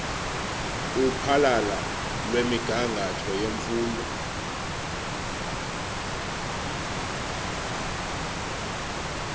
uphahla lwemigangatho yemfundo